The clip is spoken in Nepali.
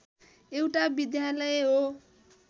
एउटा विद्यालय हो